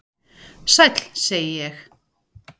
"""Sæll, segi ég."""